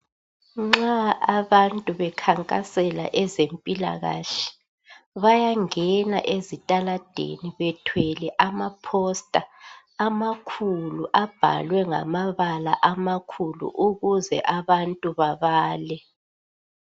Nxa abantu bekhankasela ezempilakahle bayangena emgwaqweni bethwele ama poster amakhulu abhalwe ngamabala amakhulu ukuze abantu babale.